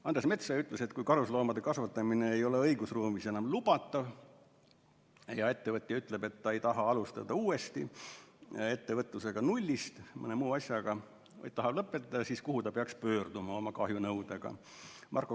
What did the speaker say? Andres Metsoja küsis: kui karusloomade kasvatamine ei ole õigusruumis enam lubatav ja ettevõtja ütleb, et ta ei taha alustada uuesti ettevõtlusega nullist mõne muu asjaga, vaid tahab lõpetada, siis kuhu ta peaks pöörduma oma kahjunõudega?